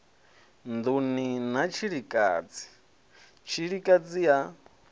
nḓuni na tshilikadzi tshilikadzi ya